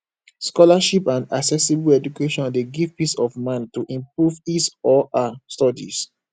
scholarship and accessible education de give peace of mind to improve his or her studies